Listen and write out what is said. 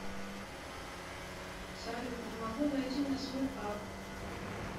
салют не могу зайти на свой акк